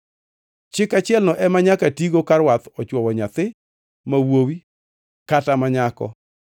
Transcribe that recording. Chik achielno ema nyaka tigo ka rwadh ochwowo nyathi ma wuowi kata ma nyako